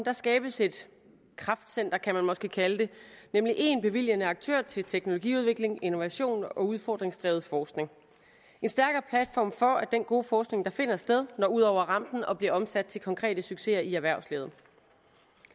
skabes et kraftcenter kan man måske kalde det nemlig én bevilgende aktør til teknologiudvikling innovation og udfordringsdrevet forskning en stærkere platform for at den gode forskning der finder sted når ud over rampen og bliver omsat til konkrete succeser i erhvervslivet